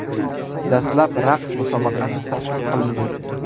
Dastlab raqs musobaqasi tashkil qilindi.